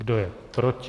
Kdo je proti?